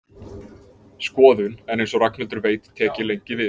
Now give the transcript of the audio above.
Skoðun, en eins og Ragnhildur veit tek ég lengi við.